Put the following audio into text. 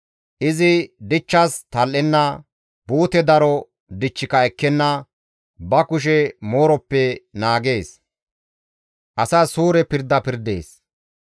Izi dichchas tal7enna; buute daro dichchika ekkenna; ba kushe mooroppe naagees; asas suure pirda pirdees.